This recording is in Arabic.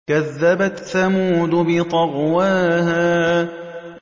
كَذَّبَتْ ثَمُودُ بِطَغْوَاهَا